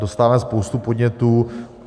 Dostáváme spoustu podnětů.